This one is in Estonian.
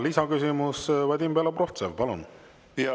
Lisaküsimus, Vadim Belobrovtsev, palun!